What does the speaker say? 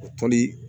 O tɔli